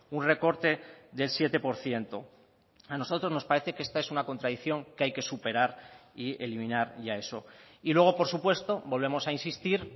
un recorte del siete por ciento a nosotros nos parece que esta es una contradicción que hay que superar y eliminar ya eso y luego por supuesto volvemos a insistir